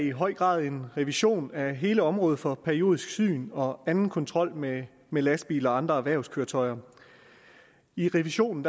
i høj grad en revision af hele området for periodisk syn og anden kontrol med med lastbiler og andre erhvervskøretøjer i revisionen